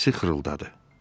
Səsi xırıldadı.